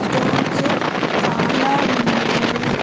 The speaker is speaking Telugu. స్టోన్సు చాలా ఉన్నాయి.